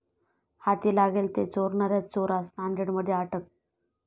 हाती लागेल ते चोरणाऱ्या चोरास नांदेडमध्ये अटक